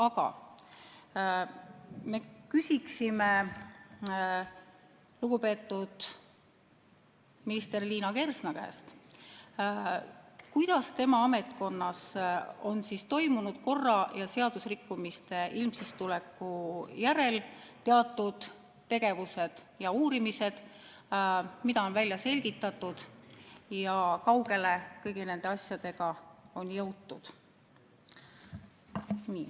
Aga me küsiksime lugupeetud minister Liina Kersna käest, kuidas tema ametkonnas on toimunud korra- ja seadusrikkumiste ilmsiks tuleku järel teatud tegevused ja uurimised, mida on välja selgitatud ja kui kaugele kõigi nende asjadega on jõutud.